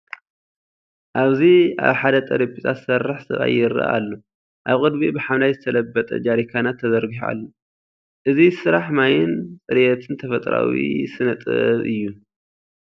ኣብዚ ኣብ ሓደ ጠረጴዛ ዝሰርሕ ሰብኣይ ይረአ ኣሎ። ኣብ ቅድሚኡ ብሐምላይ ዝተለበጠ ጀሪካናት ተዘርጊሑ ኣሎ። እዚ ስራሕ ማይን ጽሬትን ተፈጥሮኣዊ ስነ-ጥበብ እዩ።